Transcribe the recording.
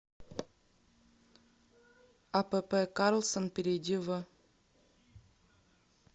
апп карлсон перейди в